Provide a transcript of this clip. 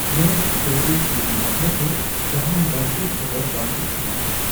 ᱢᱮᱰᱥᱴᱳᱨᱤ ᱠᱤᱨᱤᱧ ᱵᱟᱠᱷᱨᱟᱛᱮ ᱡᱟᱦᱟᱱ ᱵᱟᱹᱲᱛᱤ ᱠᱷᱚᱵᱚᱨ ᱵᱟᱝ ᱩᱪᱷᱟᱹᱱ ᱟᱠᱟᱱᱟ ᱾